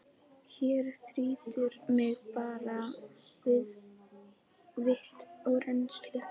Hér þrýtur mig bara vit og reynslu.